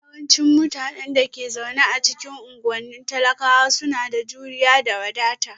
Yawancin mutanen da ke zaune a cikin unguwannin talakawa suna da juriya da wadata